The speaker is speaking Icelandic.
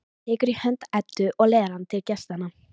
Hann tekur í hönd Eddu og leiðir hana til gestanna.